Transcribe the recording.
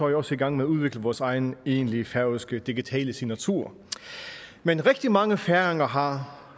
vi også i gang med at udvikle vores egen egentlige færøske digitale signatur men rigtig mange færinger har